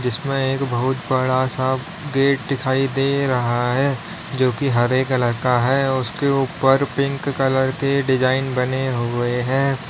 इसमें एक बहुत बड़ा सा गेट दिखाई दे रहा है जो कि हरे कलर का है उसके ऊपर पिंक कलर के डिजाइन बने हुए हैं।